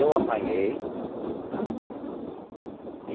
Eu apanhei, tá?